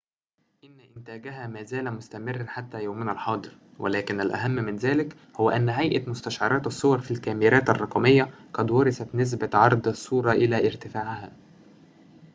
إن إنتاجها ما زال مستمراً حتى يومنا الحاضر ولكن الأهم من ذلك هو أن هيئة مستشعرات الصور في الكاميرات الرقمية قد ورثت نسبة عرض الصورة الى ارتفاعها